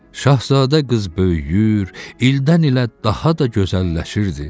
Şahzadə qız böyüyür, ildən ilə daha da gözəlləşirdi.